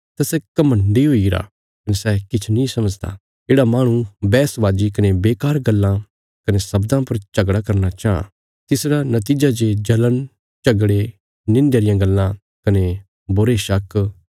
तां सै घमण्डी हुईगरा कने सै किछ नीं समझदा येढ़ा माहणु बैहसबाजी कने बेकार गल्लां कने शब्दां पर झगड़ा करना चांह तिसरा नतीजा जे जल़ण झगड़े निंध्या रियां गल्लां कने बुरे शक